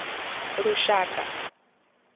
lushaka